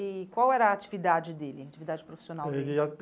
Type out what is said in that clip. E qual era a atividade dele, a atividade profissional dele? Ele